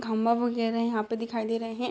खंभा वगैरा यहाँ पे दिखाइ दे रहे हैं।